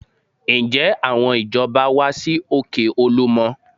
Ǹjẹ́ àwọn ìjọba wá sí òkè Olúmọ?